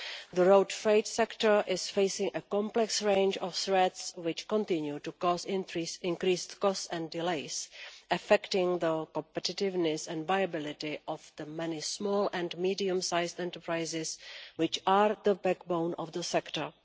The road freight sector is facing a complex range of threats which continue to cause increased costs and delays, affecting the competitiveness and viability of the many small and medium-sized enterprises, which are the backbone of the sector.